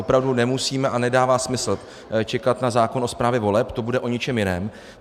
Opravdu nemusíme - a nedává smysl čekat na zákon o správě voleb, to bude o něčem jiném.